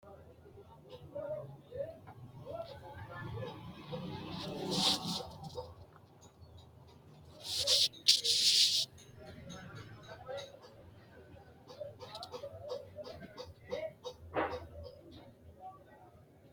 wole qaalu borreessamme ki’ne affinoonniti nooro sase borreesse S l S B AyIkkI AMAlA ettIkkI ArrA Barru Rosi Amado uytannonketi ayeete?